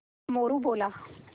मोरू बोला